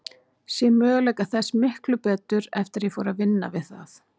Sé möguleika þess miklu betur eftir að ég fór að vinna við það.